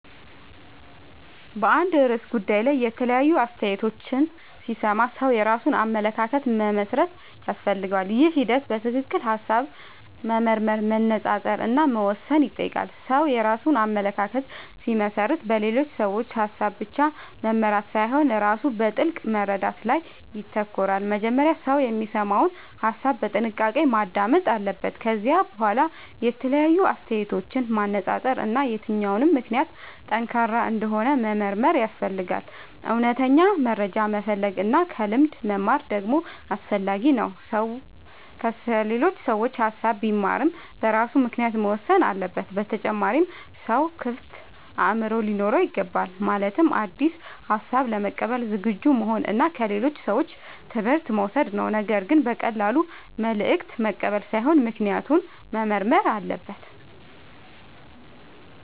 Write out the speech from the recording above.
በአንድ ርዕሰ ጉዳይ ላይ የተለያዩ አስተያየቶችን ሲሰማ ሰው የራሱን አመለካከት መመስረት ያስፈልገዋል። ይህ ሂደት በትክክል ሐሳብ መመርመር፣ መነጻጸር እና መወሰን ይጠይቃል። ሰው የራሱን አመለካከት ሲመሰርት በሌሎች ሰዎች ሐሳብ ብቻ መመራት ሳይሆን ራሱ በጥልቅ መረዳት ላይ ይተኮራል። መጀመሪያ ሰው የሚሰማውን ሐሳብ በጥንቃቄ ማዳመጥ አለበት። ከዚያ በኋላ የተለያዩ አስተያየቶችን ማነጻጸር እና የትኛው ምክንያት ጠንካራ እንደሆነ መመርመር ያስፈልጋል። እውነተኛ መረጃ መፈለግ እና ከልምድ መማር ደግሞ አስፈላጊ ነው። ሰው ከሌሎች ሰዎች ሐሳብ ቢማርም በራሱ ምክንያት መወሰን አለበት። በተጨማሪም ሰው ክፍት አእምሮ ሊኖረው ይገባል። ማለትም አዲስ ሐሳብ ለመቀበል ዝግጁ መሆን እና ከሌሎች ሰዎች ትምህርት መውሰድ ነው። ነገር ግን በቀላሉ መልእክት መቀበል ሳይሆን ምክንያቱን መመርመር አለበት።